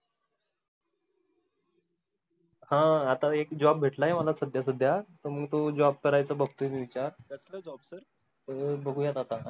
हा आता एक job भेटला आहे मला सध्या सध्या मग तो job करायचं बगतो मी विचार कसल job सर हो बघूया आता